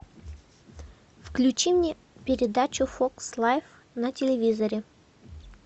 включи мне передачу фокс лайф на телевизоре